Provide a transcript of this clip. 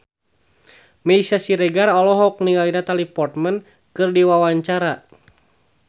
Meisya Siregar olohok ningali Natalie Portman keur diwawancara